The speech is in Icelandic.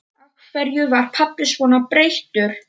Af hverju var pabbi svona breyttur?